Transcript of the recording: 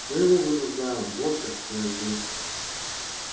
мы его вынуждаем вот почему я здесь